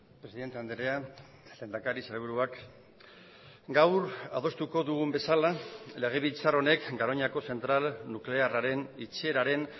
presidente andrea lehendakari sailburuak gaur adostuko dugun bezala legebiltzar honek garoñako zentral nuklearraren itxieraren